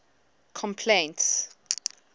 complaints